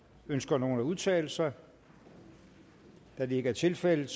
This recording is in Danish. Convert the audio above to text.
ønsker nogen at udtale sig da det ikke er tilfældet